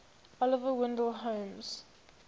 oliver wendell holmes